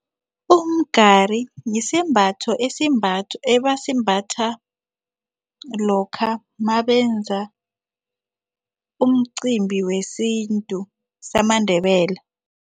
Umgari sisembatho ebasimbatha lokha mabenza umcimbi wesintu samaNdebele.